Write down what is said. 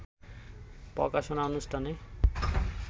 প্রকাশনা অনুষ্ঠানে